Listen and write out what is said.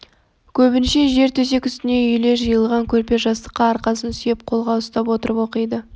көбінше жер төсек үстіне үйіле жиылған көрпе-жастыққа арқасын сүйеп қолға ұстап отырып оқиды